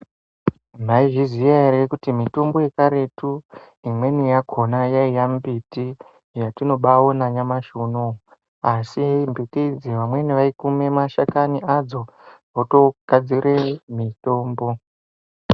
Maizviziya ere kuti mitombo yekaretu imweni yakona yaiya mbiti yatinobaona nyamashi unowu asi mbiti idzi vamweni vaikuma mashakani adzo votogadzire mutombo.